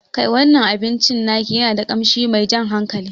Kai, wannan abincin naki yana da ƙashi mai jan hankali